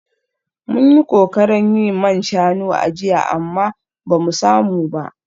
Mun yi kokarin yin man shanu a jiya amma ba mu samu ba